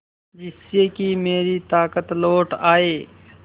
जिससे कि मेरी ताकत लौट आये